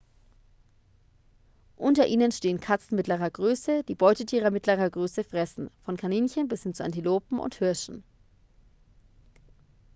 unter ihnen stehen katzen mittlerer größe die beutetiere mittlerer größe fressen von kaninchen bis hin zu antilopen und hirschen